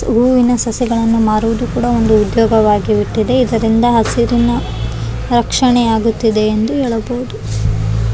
ಹೂವಿನ ಸಸಿಗಳನ್ನ ಮಾರುವುದು ಕೂಡ ಒಂದು ಉದ್ಯೋಗವಾಗಿ ಬಿಟ್ಟಿದೆ ಇದರಿಂದ ಹಸುರಿನ ರಕ್ಷಣೆ ಆಗುತ್ತಿದೆ ಎಂದು ಹೇಳಬಹುದು .